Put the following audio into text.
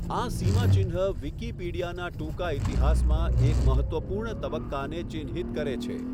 આ સીમાચિહ્ન વિકિપીડિયાનાં ટૂંકા ઈતિહાસમાં એક મહત્ત્વપૂર્ણ તબક્કાને ચિહ્નિત કરે છે.